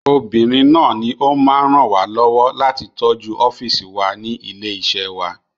Obìnrin náà ní o máa ń ràn wá lọ́wọ́ láti tọ́jú ọ́fìsì wa ní ilé iṣẹ́ wa